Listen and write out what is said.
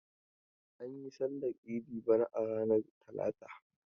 An yi sallar idi bana a ranar talata.